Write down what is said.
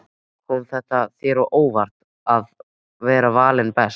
Kom þetta þér á óvart að vera valinn best?